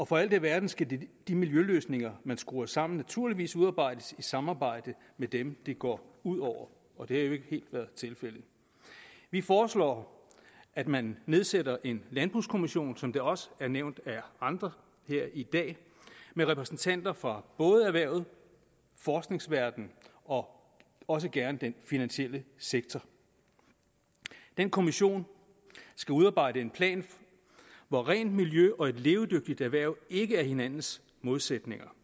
for alt i verden skal de miljøløsninger man skruer sammen naturligvis udarbejdes i samarbejde med dem det går ud over og det har jo ikke helt været tilfældet vi foreslår at man nedsætter en landbrugskommission som det også er nævnt af andre i dag med repræsentanter for både erhvervet forskningsverdenen og også gerne den finansielle sektor den kommission skal udarbejde en plan hvor rent miljø og et levedygtigt erhverv ikke er hinandens modsætninger